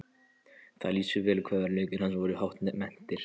Það lýsir vel hve verðleikar hans voru hátt metnir.